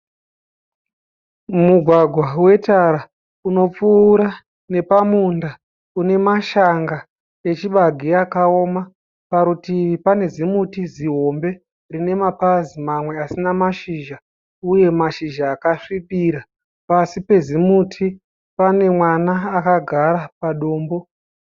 Mugwagwa wetara unopfuura nepamunda unemashanga achibage akaoma. Parutivi pane zimuti zihombe rinemapazi mamwe asina mashizha uye mashizha akasvibira. Pasi pezimuti pane mwana akagara.